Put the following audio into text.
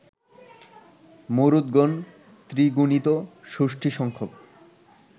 মরুদ্গণ ত্রিগুণিত ষষ্টিসংখ্যক